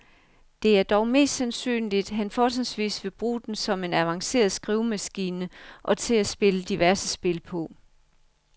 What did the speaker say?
Det er dog mest sandsynligt, han fortrinsvis vil bruge den som en avanceret skrivemaskine og til at spille diverse spil på.